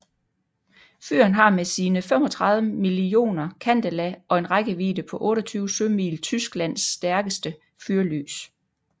Fyret har med sine 35 mio candela og en rækkevidde på 28 sømil Tysklands stærkeste fyrlys